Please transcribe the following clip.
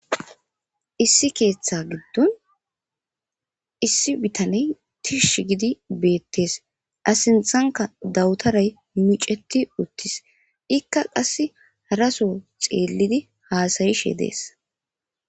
Issi keeththa giddon issi bitaney tish gidi beettees asinthanka dawutaray miceti uttis ikka qass haraso xeellidi haasayishe dees.